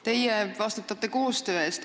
Teie vastutate koostöö eest.